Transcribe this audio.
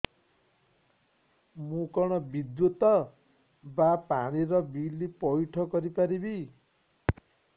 ମୁ କଣ ବିଦ୍ୟୁତ ବା ପାଣି ର ବିଲ ପଇଠ କରି ପାରିବି